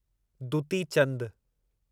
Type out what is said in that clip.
Dutee Chand